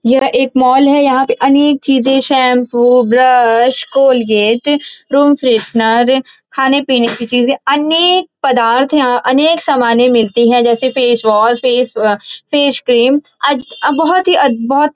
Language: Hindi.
यह एक मॉल है। यहाँ पे अनेक चीजें shampoo brush Colgate room freshener खाने पीने की चीजें अनेक पदार्थ यहाँ अनेक समाने मिलती है जैसे फेसवॉश फेस अ- फेस क्रीम बहोत ही अ बहोत ही--